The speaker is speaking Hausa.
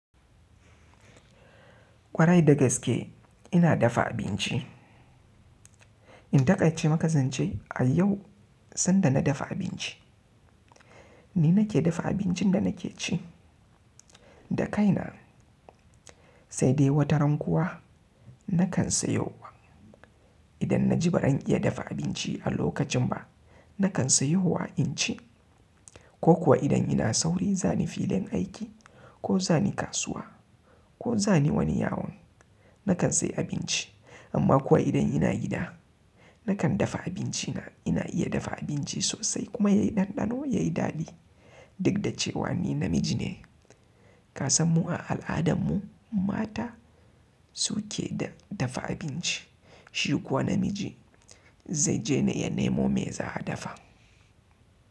Kwarai da gaske ina dafa abinci. In taƙaice makazance a yau sanda na dafa abinci. Ni nake dafa abincin da nake ci da kaina sai dai wataran kuwa na kan sayo wa. Idan na ji ba zan iya dafa abinci a lokacin ba, na kan sayo wa in ci ko kuwa idan ina sauri za ni filin aiki ko za ni kasuwa ko za ni wani yawon, na kan sayi abinci. Amma kuwa idan ina gida na kan dafa abinci na. Ina iya dafa abinci sosai kuma yayi ɗanɗano yayi daɗi. Duk da cewa ni namiji ne, ka san mu a al'adarmu mata su ke dafa abinci. Shi kuwa namiji zai je ne yanemu me za'adafa.